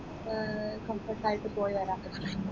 അഹ് comfort ആയിട്ട് പോയി